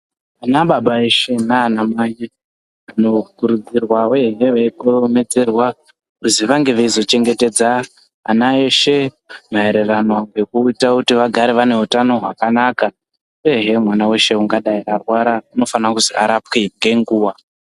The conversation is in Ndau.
Anababa veshe nana mai vanokurudzirwa uyehe veikohomedzerwa kuzi vange veizochengetedza ana eshe maererano ngekuita kuti vagare vane hutano hwakanaka uyehe mwana weshe ungadai akarwara unofanira kuzi arapwe nenguwa.